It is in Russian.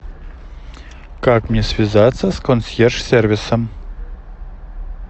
как мне связаться с консьерж сервисом